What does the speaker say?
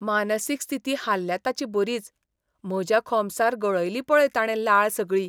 मानसीक स्थिती हाल्ल्या ताची बरीच, म्हज्या खोमसार गळयली पळय ताणें लाळ सगळी.